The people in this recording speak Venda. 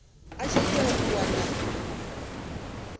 a tshi itela u wana